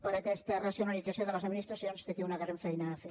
per aquesta racionalització de les administracions té aquí una gran feina a fer